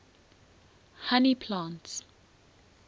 honey plants